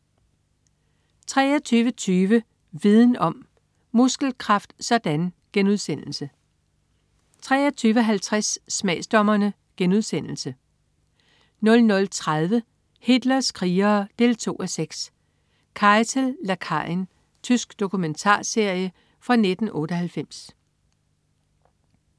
23.20 Viden Om: Muskelkraft sådan!* 23.50 Smagsdommerne* 00.30 Hitlers krigere 2:6. Keitel, lakajen. Tysk dokumentarserie fra 1998